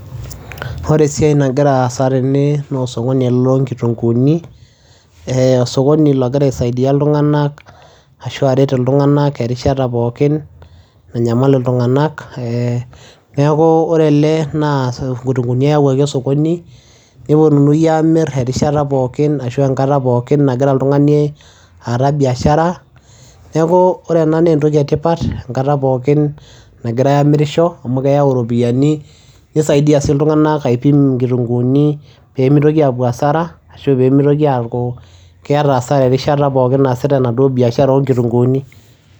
Ore esiai nagira aasa tene noo oskoni ele loo nkitung'uuni, ee osokoni logira aisaidia iltung'anak ashu aret iltung'anak erishata pookin nanyamal iltung'anak ee. Neeku ore ele naa inkitung'uuni eyawuaki osokoni neponunui aamir erishata pookin ashu enkata pookin nagira oltung'ani aata biashara. Neeku ore ena nee entoki e tipat enkata pookin nagirai aamirisho amu keyau iropiani, nisaidia sii iltung'anak aipim inkitung'uuni pee mitoki aapuo hasara ashu pee mitoki aaku keeta hasara erishata pookin naasita enaduo biashara oo nkitung'uuni.